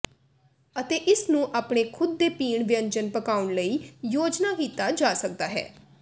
ਅਤੇ ਇਸ ਨੂੰ ਆਪਣੇ ਖੁਦ ਦੇ ਪੀਣ ਵਿਅੰਜਨ ਪਕਾਉਣ ਲਈ ਯੋਜਨਾ ਕੀਤਾ ਜਾ ਸਕਦਾ ਹੈ